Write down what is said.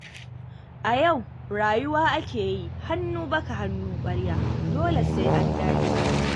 A yau rayuwa ake yi, hannu baka hannu ƙwarya, dole sai an dage.